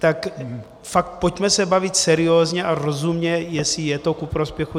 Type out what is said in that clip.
Tak fakt, pojďme se bavit seriózně a rozumně, jestli je to ku prospěchu.